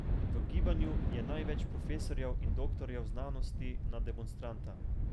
V gibanju je največ profesorjev in doktorjev znanosti na demonstranta.